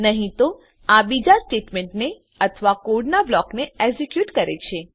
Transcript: નહી તો આ બીજા સ્ટેટમેંટને અથવા કોડનાં બ્લોકને એક્ઝેક્યુટ કરે છે